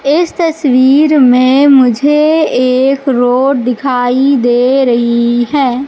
इस तस्वीर में मुझे एक रोड दिखाई दे रही है।